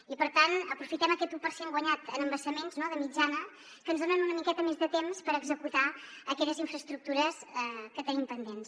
i per tant aprofitem aquest u per cent guanyat en embassaments de mitjana que ens dona una miqueta més de temps per executar aquelles infraestructures que tenim pendents